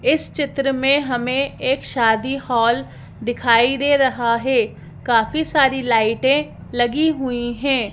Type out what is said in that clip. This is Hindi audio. इस चित्र में हमें एक शादी हॉल दिखाई दे रहा है काफी सारी लाइटें लगी हुई हैं।